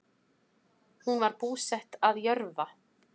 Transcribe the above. Hún var búsett að Jörfa